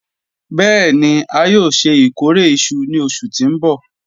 Bẹẹni a yoo ṣe ikore iṣu ni oṣu ti n bọ